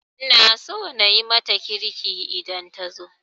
Ina so na yi mata kirki idan ta zo